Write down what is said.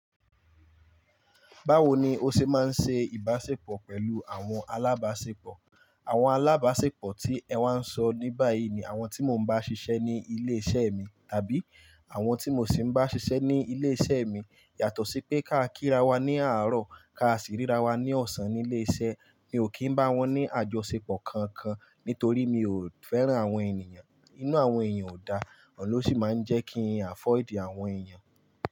Báwo ni o se máa ń ṣe ìbásepọ̀ pẹ̀lú àwọn alábásepọ̀? Àwọn alábásepọ̀ tí ẹ wá ń sọ ní báyìí ni àwọn tí mo ń bá ṣiṣẹ́ ní ilé iṣẹ́ mi, tàbí àwọn tí mo sì ń bá ṣiṣẹ́ ní ilé iṣẹ́ mi. Yàtọ̀ sí pé ká kí ra wa ní àárọ̀, ká sì ríra wa ní ọ̀sán nílé iṣẹ́. Mi ò kì í bá wọn ní àjọsepọ̀ kankan nítorí mi ò fẹ́ràn àwọn ènìyàn. Inú àwọn èèyàn ò dáa, oun ló sì máa ń jẹ́ kí n avoid àwọn èèyàn.